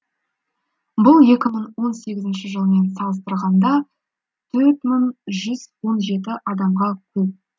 бұл екі мың он сегізінші жылмен салыстырғанда төрт мың жүз он жеті адамға көп